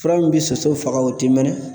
Fura min bɛ soso faga o ti mɛnɛ.